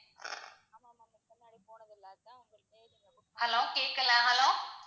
hello கேக்கல hello